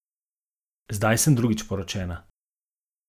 Zdaj sem drugič poročena.